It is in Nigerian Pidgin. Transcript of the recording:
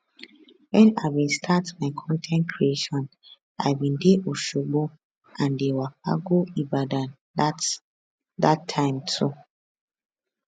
wen i bin start my con ten t creation i bin dey osogbo and dey waka go ibadan dat dat time too